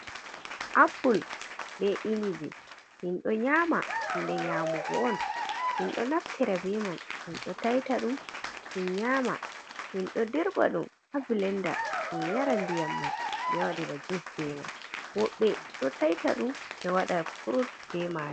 Apple be inibi minɗo nyama nde nyamugo on minɗo naftira be man min nyama minɗo dirɓa ɗum ha blender min yara ndiyam man mi waɗira juice be man wodɓe ɗo taita ɗum ɓe waɗa fruit be man.